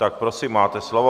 Tak prosím, máte slovo.